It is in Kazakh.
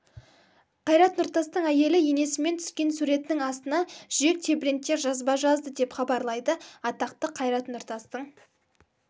қайрат нұртастың әйелі енесімен түскен суретінің астына жүрек тебірентер жазба жазды деп хабарлайды атақты қайрат нұртастың